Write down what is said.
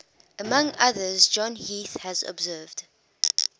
among others john heath has observed